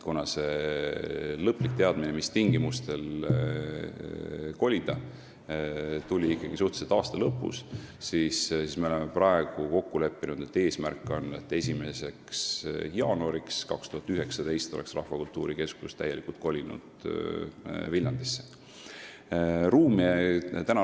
Lõplik teadmine, mis tingimustel kolida, tuli ikkagi suhteliselt aasta lõpus ja me oleme praegu kokku leppinud, et eesmärk on see, et 1. jaanuariks 2019 oleks Rahvakultuuri Keskus täielikult Viljandisse kolinud.